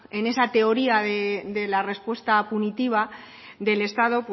en esa teoría de la respuesta punitiva del estado